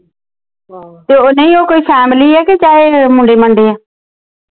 ਤੇ ਉਹ ਨਹੀਂ ਕੋਈ family ਆ ਕੇ ਚਾਹੇ ਮੁੰਡੇ ਮੰਡੇ ਆ